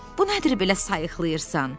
Bu nədir belə sayıqlayırsan?